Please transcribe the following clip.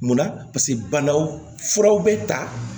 Munna banaw furaw bɛ ta